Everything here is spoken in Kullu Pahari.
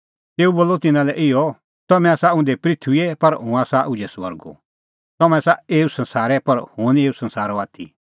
तेऊ बोलअ तिन्नां लै इहअ तम्हैं आसा उंधै पृथूईए पर हुंह आसा उझै स्वर्गो तम्हैं आसा एऊ संसारे पर हुंह निं एऊ संसारो आथी